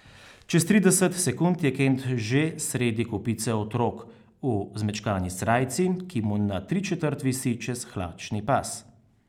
Čez trideset sekund je Kent že sredi kopice otrok, v zmečkani srajci, ki mu na tričetrt visi čez hlačni pas.